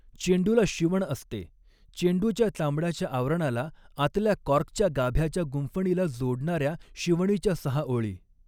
चेंडूला 'शिवण' असते चेंडूच्या चामड्याच्या आवरणाला आतल्या कॉर्कच्या गाभ्याच्या गुंफणीला जोडणाऱ्या शिवणीच्या सहा ओळी.